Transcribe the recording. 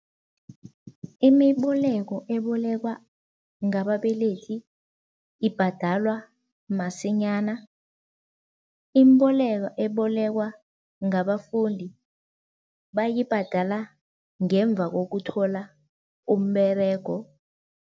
Imiboleko ebolekwa ngababelethi ibhadalwa masinyana, imboleko ebolekwa ngabafundi bayibhadala ngemva kokuthola umberego.